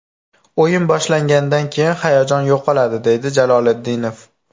O‘yin boshlangandan keyin hayajon yo‘qoladi”, deydi Jaloliddinov.